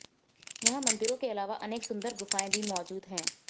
यहां मंदिरों के अलावा अनेक सुंदर गुफाएं भी मौजूद हैं